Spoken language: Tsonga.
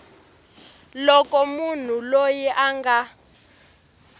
loko munhu loyi a nga